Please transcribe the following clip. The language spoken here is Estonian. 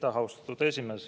Aitäh, austatud esimees!